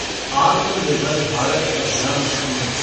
आत्म निर्भर भारत अभियान स्कीम